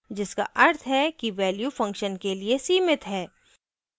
जिसका अर्थ है कि value function के लिए सीमित है